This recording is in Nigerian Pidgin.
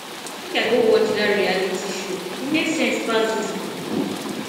make i go watch dat reality show e make sense pass dis book